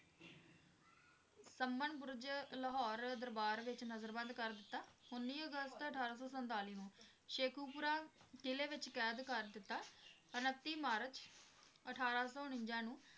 summons Burj Lahore ਦਰਬਾਰ ਵਿਚ ਨਜ਼ਰਬੰਦ ਕਰ ਦਿਤਾ ਉੱਨੀ ਅਗਸਤ ਅਠਾਰਾਂ ਸੌ ਸੰਤਾਲੀ ਨੂੰ ਸੇਖੂਪੁਰਾ ਕਿਲ੍ਹੇ ਵਿੱਚ ਕੈਦ ਕਰ ਦਿਤਾ ਉਣੱਤੀ ਮਾਰਚ ਅਠਾਰਾਂ ਸੌ ਉਣੰਜਾ ਨੂੰ